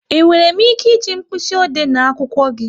E nwere m ike e ji mkpịsị ode na akwụkwọ gị?